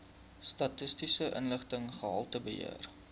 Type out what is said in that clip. statistiese inligting gehaltebeheer